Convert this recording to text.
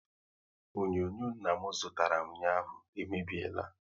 Onyonyo nna m zụtara ụnyaahụ e mebiela